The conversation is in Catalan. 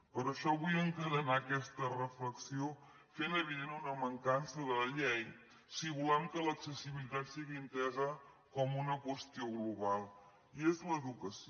per això vull encadenar aquesta reflexió fent evident una mancança de la llei si volem que l’accessibilitat sigui entesa com una qüestió global i és l’educació